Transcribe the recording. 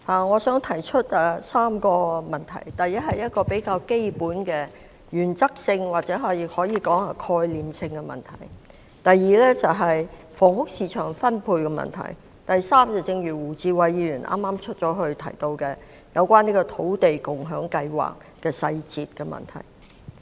我想提出3個問題：第一，是一個比較基本、原則性或可以說是概念性的問題；第二，是房屋市場分配問題；第三，是胡志偉議員——他剛離席——提到的土地共享先導計劃細節的問題。